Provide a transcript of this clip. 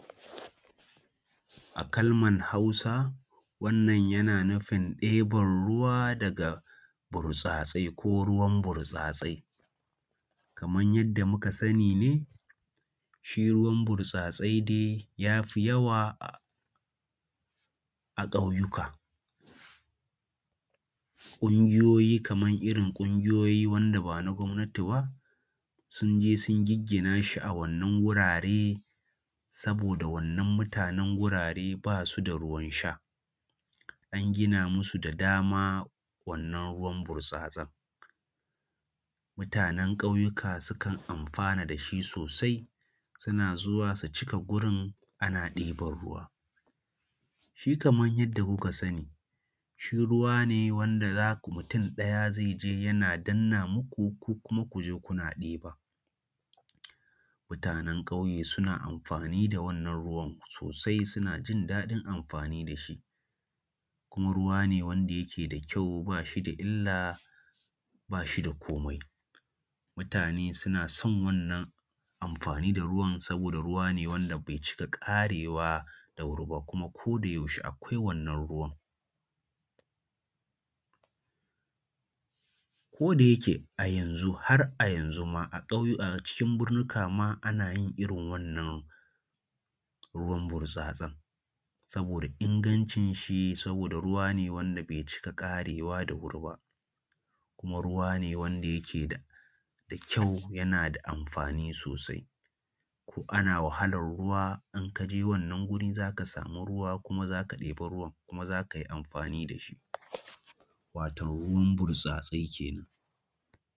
A kalmar Hausa, wannan yana nufin ɗeban ruwa a burtsatsai ko ruwan burtsatsai. Kaman yadda muka sani ne, shi ruwan burtsatsai dai ya fi yawa a ƙautuka. Ƙungiyoyi kaman irin ƙungiyoyi wanda ba na gwanti ba sun je sun giggina shi a wannan wurare, saboda wannan mutanen wurare ba su da ruwan sha, an gina musu da dama wannan ruwan burtsatsan. Mutanen ƙauyuka sukan amfana da shi sosai, suna zuwa su ka cika wurin ana ɗiban ruwa. Shi kaman yadda kuka sani, shi ruwa ne wanda za ku mutum ɗaya zai je yana danna muku, ku kuma za ku je kuna ɗiba. Mutanen ƙauye suna amfani da wannan ruwan sosai suna jindaɗin amfani da shi, kuma ruwa ne wanda yake da kyau ba shi da illa ba shi da komai, mutane sun son wannan amfani da ruwan saboda ruwa ne wanda bai cika ƙare wa da wuri ba kuma ko da yaushe akwai wannan ruwan. Ko da yake a yanzu, har a yanzu ma a ƙauyu acikin birnuka ma ana yin irin wannan ruwan burtsatsan, saboda ingancin shi, saboda ruwa ne wanda bai cika ƙarewa da wuri ba. Kuma ruwa ne wanda yake da kyau kuma yana da amfani sosai, ko ana wahalar ruwa, in kaje wannan guri za ka samu ruwa kuma za ka ɗebi ruwan kuma za ka yi amfani da shi, wato ruwan burtsatsai kenan.